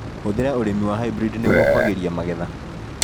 Hũthĩra ũrĩmi wa hybrid nĩguo kwagĩria magetha.